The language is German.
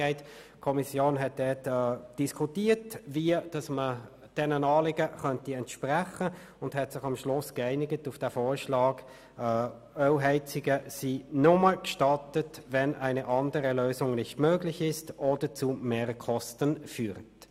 Die Kommission hat darüber diskutiert, wie man diesen Anliegen entsprechen könnte, und sie hat sich schlussendlich darauf geeinigt, dass Ölheizungen nur gestattet sind, «wenn eine andere Lösung nicht möglich ist oder zu Mehrkosten führt.